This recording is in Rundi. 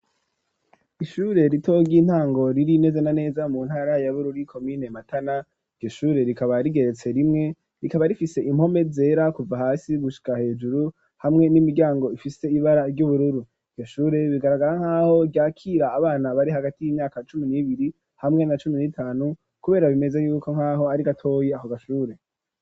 Ishure ritoyi ry'intango riri neza na neza mu ntara ya Bururi komine Matana, iryo shure rikaba rigeretse rimwe, rikaba rifise impome zera kuva hasi gushika hejuru hamwe n'imiryango ifise ibara ry'ubururu, iryo shure bigaragara nkaho ryakira abana bari hagati y'imyaka cumi n'ibiri hamwe na cumi n'itanu, kubera bimeze yuko mkaho ari gatoya ako gashure.